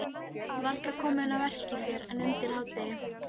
Varla komin að verki fyrr en undir hádegi.